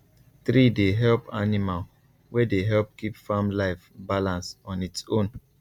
tree dey help animal wey dey help keep farm life balance on its own